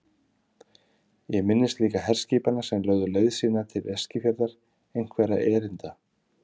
Ég minnist líka herskipanna sem lögðu leið sína til Eskifjarðar einhverra erinda.